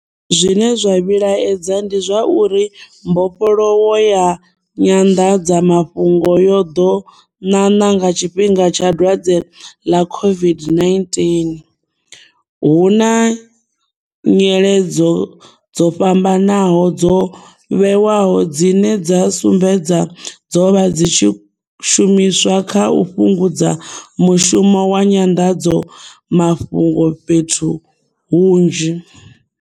Zwine zwa vhilaedza ndi zwa uri mbofholowo ya nyanḓadzamafhungo yo ḓo ṋaṋa nga tshifhinga tsha dwadze ḽa COVID-19, hu na nyeledzo dzo fhambanaho dzo vhewaho dzine dza sumbedza dzo vha dzi tshi shumiswa kha u fhungudza mushumo wa nyanḓadzamafhungo fhethu hunzhi.